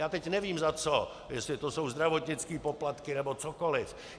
Já teď nevím za co, jestli to jsou zdravotnické poplatky nebo cokoli.